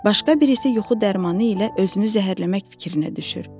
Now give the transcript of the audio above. Başqa birisi yuxu dərmanı ilə özünü zəhərləmək fikrinə düşür.